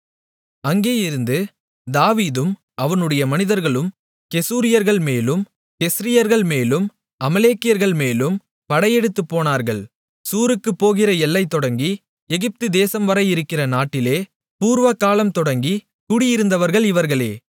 அங்கேயிருந்து தாவீதும் அவனுடைய மனிதர்களும் கெசூரியர்கள் மேலும் கெஸ்ரியர்கள்மேலும் அமலேக்கியர்கள்மேலும் படையெடுத்துப் போனார்கள் சூருக்குப் போகிற எல்லை தொடங்கி எகிப்து தேசம் வரை இருக்கிற நாட்டிலே பூர்வகாலம் தொடங்கி குடியிருந்தவர்கள் இவர்களே